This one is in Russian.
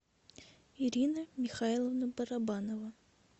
ирина михайловна барабанова